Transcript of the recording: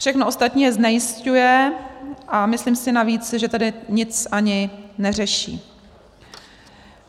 Všechno ostatní je znejisťuje a myslím si navíc, že tady nic ani neřeší.